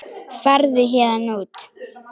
Farðu héðan út.